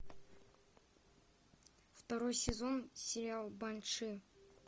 второй сезон сериал банши